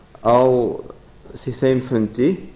á þeim fundi